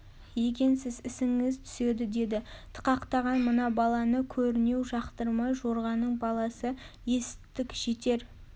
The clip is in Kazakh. екенсіз ісіңіз түседі деді тықақтаған мына баланы көрінеу жақтырмай жорғаның баласы есіттік жетер